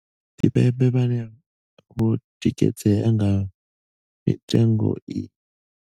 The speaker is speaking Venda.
Tshipembe vhane vho tsikeledzea nga mitengo iyi.